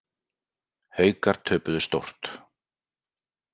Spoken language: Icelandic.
Haukar töpuðu stórt